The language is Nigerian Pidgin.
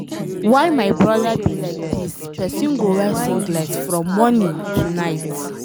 Why my broda be like dis. Person go wear singlet from morning to night